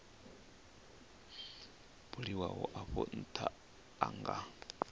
buliwaho afho ntha a nga